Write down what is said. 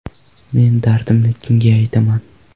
Men dardimni kimga aytaman?